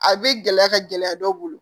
A bɛ gɛlɛya ka gɛlɛya dɔw bolo